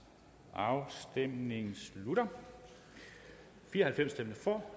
afstemningen slutter for